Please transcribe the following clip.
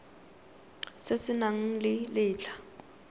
se se nang le letlha